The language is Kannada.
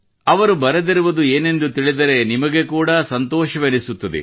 ಅವರು ಬರೆದಿರುವುದು ಏನೆಂದು ತಿಳಿದರೆ ನಿಮಗೆ ಕೂಡಾ ಸಂತೋಷವೆನಿಸುತ್ತದೆ